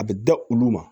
A bɛ da olu ma